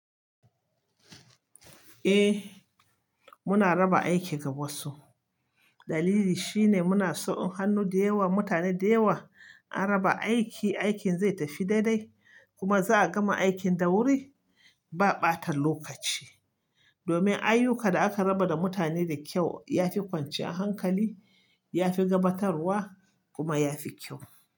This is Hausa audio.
Eh, muna raba aiki ga wasu. Dalili shine muna so hannu da yawa, mutane da yawa. An raba aiki, aikin zai tafi daidai, kuma za a gama aikin da wuri ba ɓata lokaci. Domin ayyuka da aka raba da mutane da kyau, ya fi kwanciyar hankali, ya fi gabatarwa kuma ya fi kyau.